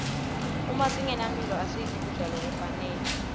uma singenamphilo asidli kudla lokufanele